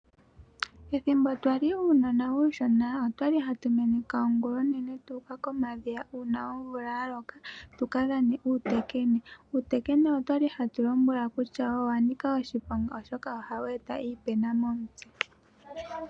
Ethimbo twali uunona uushona otwali hatu meneka ongulonene tu uka komadhiya uuna omvula yaloka tuka dhane uutekene, otwali nee hatu lombwelwa kutya owanika oshiponga oshoka ohawu eta iipena momutse.